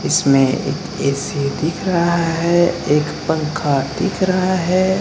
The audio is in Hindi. इसमें एक ए.सी. दिख रहा है एक पंखा दिख रहा है।